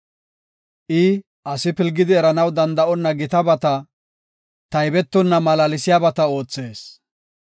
I asi pilgid eranaw danda7onna gitabata, taybetonna malaalsiyabata oothees.